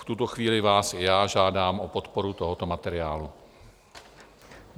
V tuto chvíli vás i já žádám o podporu tohoto materiálu.